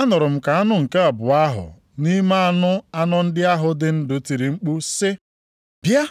anụrụ m ka anụ nke abụọ ahụ nʼime anụ anọ ndị ahụ dị ndụ tiri mkpu sị, “Bịa!”